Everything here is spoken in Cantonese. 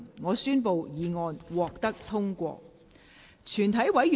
我宣布議案獲得通過。